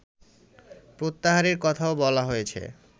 প্রত্যাহারের কথাও বলা হয়েছে